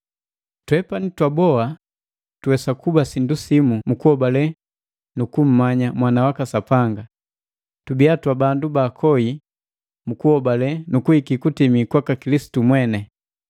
twepani twaboa tuwesa kuba sindu simu mu kuhobale nu kummanya Mwana waka Sapanga, tubiya twabandu baakoi mukuhobale nu kuhiki kutimii kwaka Kilisitu mweni.